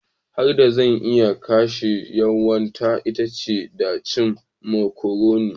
Hanyar da zan iya kashe yunwata ita ce ta cin macaroni.